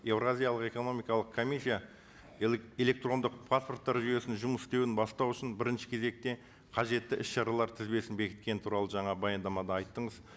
еуразиялық экономикалық комиссия электрондық паспорттар жүйесінің жұмыс істеуін бастау үшін бірінші кезекте қажетті іс шаралар тізбесін бекіткен туралы жаңа баяндамада айттыңыз